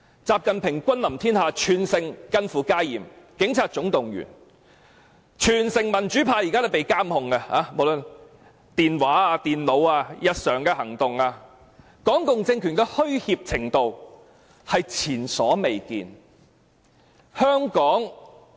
習近平君臨天下，全城近乎戒嚴，警察總動員，民主派被監控，無論電話、電腦、日常行動都被監控，港共政權的虛怯程度是前所未見的。